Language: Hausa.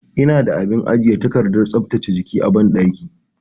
Eh, ina da abin ajiye takardar tsaftace jiki a banɗaki.